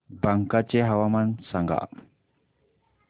बांका चे हवामान सांगा